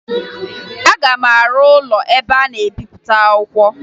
Aga m arụ ụlọ ebe a na-ebepụta akwụkwọ